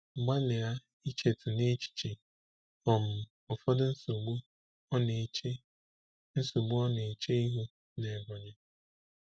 Gbalịa ichetụ n'echiche um ụfọdụ nsogbu ọ na-eche nsogbu ọ na-eche ihu n'Ebonyi.